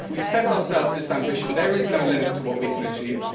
If we set ourselves this ambition, there is no limit to what we can achieve.